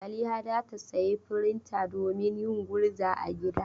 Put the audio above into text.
Zaliha za ta sayi firinta domin yin gurza a gida.